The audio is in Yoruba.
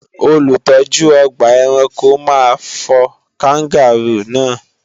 Olùtọ́jú ọgbà ẹranko máa fọ Káńgàróò náà